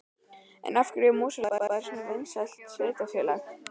En af hverju er Mosfellsbær svona vinsælt sveitarfélag?